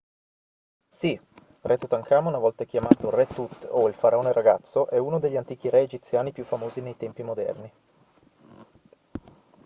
sì re tutankhamon a volte chiamato re tut o il faraone ragazzo è uno degli antichi re egiziani più famosi nei tempi moderni